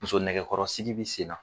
Muso nɛgɛkɔrɔsigi bɛ sen na